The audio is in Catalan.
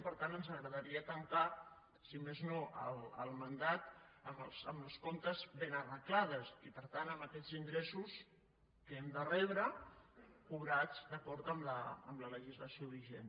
i per tant ens agradaria tancar si més no el mandat amb els comptes ben arreglats i per tant amb aquests ingressos que hem de rebre cobrats d’acord amb la legislació vigent